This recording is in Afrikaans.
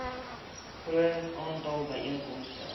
groot aantal byeenkomste